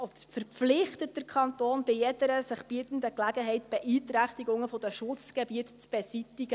Er verpflichtet den Kanton, bei jeder sich bietenden Gelegenheit Beeinträchtigungen der Schutzgebiete zu beseitigen.